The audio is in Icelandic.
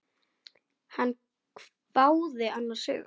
Hann hváði annars hugar.